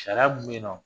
Sariya mun bɛ yen nɔ